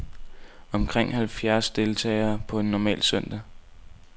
Omkring halvfjerds deltager på en normal søndag.